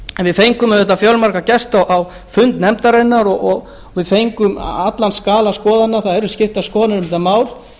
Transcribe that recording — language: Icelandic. við fengum auðvitað fjölmarga gesti á fund nefndarinnar og við fengum allan skala skoðana það eru skiptar skoðanir um þetta mál